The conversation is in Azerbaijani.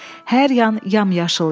Hər yan yamyaşıl idi.